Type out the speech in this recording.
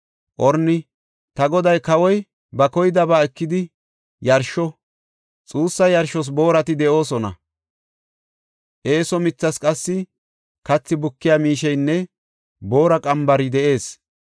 Orni, “Ta goday, kawoy ba koydaba ekidi yarsho! Xuussa yarshos boorati de7oosona; eeso mithas qassi kathi bukiya miisheynne boora qambari de7ees.